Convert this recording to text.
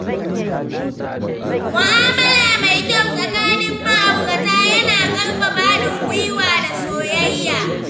Mu'amala mai kyau tsakanin ma’aurata yana ƙarfafa haɗin gwiwa da soyayya.